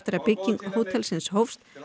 að bygging hótelsins hófst